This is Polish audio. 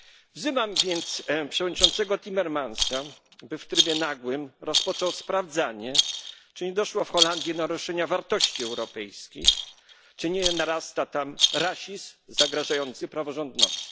Wzywam więc przewodniczącego Timmermansa, by w trybie nagłym rozpoczął sprawdzanie, czy nie doszło w Holandii do naruszenia wartości europejskich, czy nie narasta tam rasizm zagrażający praworządności.